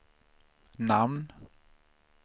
namn